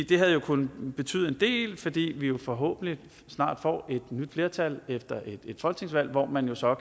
det havde jo kunnet betyde en del fordi vi vi forhåbentlig snart får et nyt flertal efter et folketingsvalg hvor man så